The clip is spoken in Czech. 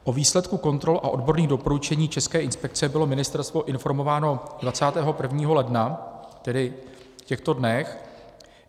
O výsledku kontrol a odborných doporučení České inspekce bylo ministerstvo informováno 21. ledna, tedy v těchto dnech.